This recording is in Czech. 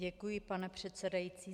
Děkuji, pane předsedající.